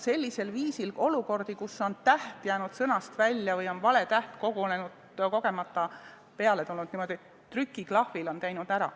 Sellisel viisil parandatakse kohti, kus on mõni täht jäänud sõnast välja või on vale täht kogemata trükitud.